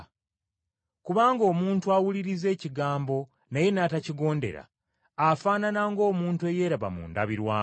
Kubanga omuntu awuliriza ekigambo naye n’atakigondera, afaanana ng’omuntu eyeeraba mu ndabirwamu;